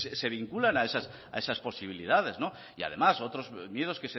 se vinculan a esas posibilidades y además otros miedos